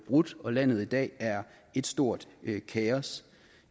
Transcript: brudt og landet er i dag et stort kaos